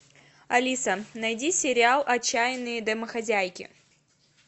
алиса найди сериал отчаянные домохозяйки